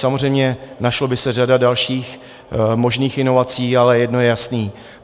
Samozřejmě našla by se řada dalších možných inovací, ale jedno je jasné.